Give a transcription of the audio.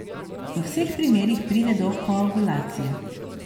V vseh primerih pride do koagulacije.